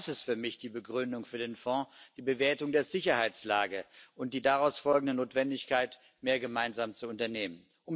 Denn das ist für mich die Begründung für den Fonds die Bewertung der Sicherheitslage und die daraus folgende Notwendigkeit, mehr gemeinsam zu unternehmen.